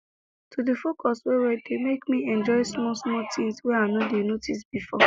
to dey focus well well dey make me enjoy smallsmall things wey i no dey notice before